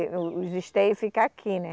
O, os esteios fica aqui, né?